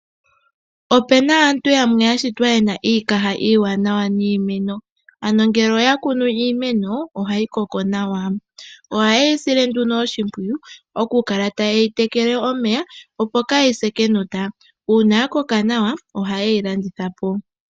Opuna aantu yamwe yashitwa yena iikaha iiwanawa niimeno. Ano ngele oya kunu iimeno, ohayi koko nawa . Ohayeyi sile nduno oshimpwiyu okukala taye yi tekele omeya opo kaayi se kenota. Uuna ya koka nawa ohayeyi landithapo .